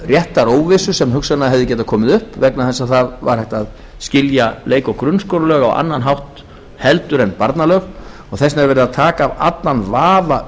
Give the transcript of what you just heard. réttaróvissu sem hugsanlega hefði getað komið upp vegna þess að það var hægt að skilja leik og grunnskólalög á annan hátt en barnalög og þess vegna er verið að taka af allan vafa